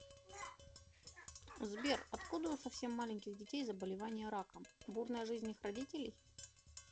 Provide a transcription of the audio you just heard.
сбер откуда у совсем маленьких детей заболевание раком бурная жизнь их родителей